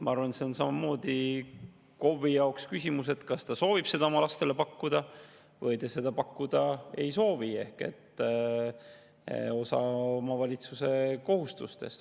Ma arvan, et see on samamoodi KOV-i jaoks küsimus, kas ta soovib seda oma lastele pakkuda või ta ei soovi seda pakkuda, ehk see on osa omavalitsuse kohustustest.